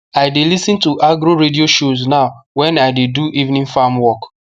i dey lis ten to agro radio shows now when i dey do evening farm work